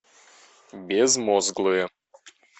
безмозглые